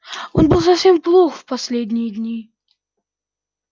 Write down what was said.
он был совсем плох последние дни